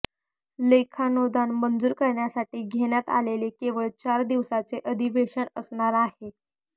लेखानुदान मंजूर करण्यासाठी घेण्यात आलेले केवळ चार दिवसांचे अधिवेशन असणार आहे